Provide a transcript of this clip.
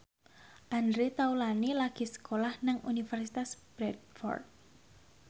Andre Taulany lagi sekolah nang Universitas Bradford